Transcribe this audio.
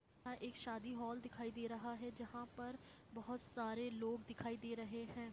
एक शादी हॉल दिखाई दे रहा है जहां पर बहुत सारे लोग दिखाई दे रहे है।